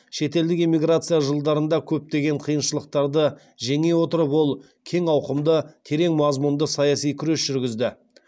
шетелдік эмиграция жылдарында көптеген қиыншылықтарды жеңе отырып ол кең ауқымды терең мазмұнды саяси күрес жүргізді